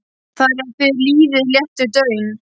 Þar er við lýði léttur daunn.